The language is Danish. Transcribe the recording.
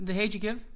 The hate you give?